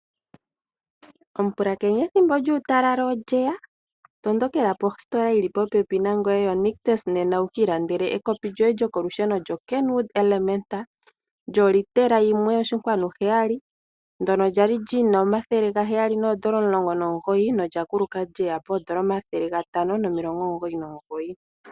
Omupulakeni ethimbo lyuutalala olyeya, tondokela postola yili popepi nangoye yo Nictus nena wukiilandele ekopi lyoye lyokolusheno lyokenwuud elementa, lyo liitela yimwe oshinkwanu heyali, ndono lyali li na omathele gaheyali noondola omulongo nomugoyi, nolyakuluka lyeya poondola omathele gatano nomilongo omugoyi nomugoyi.